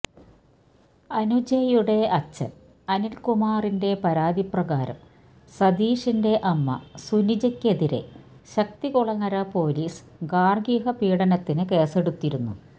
അനുജയുടെ അച്ഛൻ അനിൽകുമാറിന്റെ പരാതിപ്രകാരം സതീഷിന്റെ അമ്മ സുനിജയ്ക്കെതിരേ ശക്തികുളങ്ങര പൊലീസ് ഗാർഹികപീഡനത്തിന് കേസെടുത്തിരുന്നു